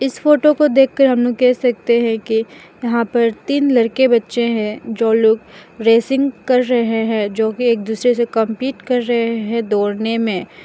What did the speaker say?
इस फोटो को देखकर हम लोग कह सकते है की यहां पर तीन लड़के बच्चे है जो लोग रेसिंग कर रहे है जो की एक दूसरे से कंपीट कर रहे है दौड़ने मे--